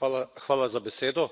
Gospa predsednica!